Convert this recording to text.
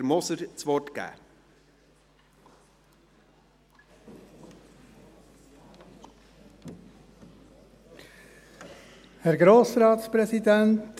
Der Masterplan sollte in wesentlichen Punkten mit der Justizvollzugsstrategie übereinstimmen.